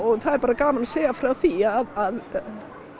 það er bara gaman að segja frá því að